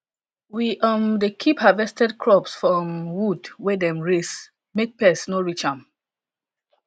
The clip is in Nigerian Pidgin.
we um dey keep harvested crop for um wood wey dem raise make pest no reach am